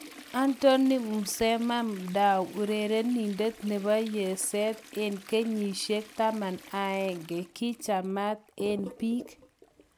Anthony Mmesoma Madu, urerenidet nebo yeset eng kenyishek 11 kichamat eng peek